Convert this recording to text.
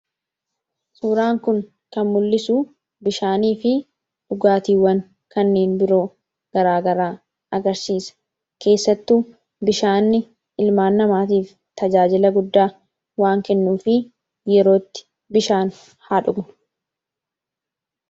Suuraan kun kan mul'isu bishaaniifi dhugaatiiwwan kanneen biroo garaagaraa agarsiisa. keessattuu bishaan ilmaan namaatiif tajaajila guddaa waan kennuufi yerootti bishaan haa dhugnu.